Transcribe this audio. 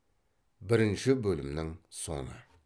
бірінші бөлімнің соңы